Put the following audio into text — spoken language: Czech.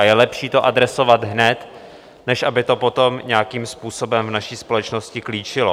A je lepší to adresovat hned, než aby to potom nějakým způsobem v naší společnosti klíčilo.